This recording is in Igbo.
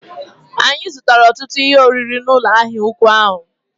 Anyị zụrụ ọtụtụ ihe oriri n'ụlọ ahịa ụkwụ ahụ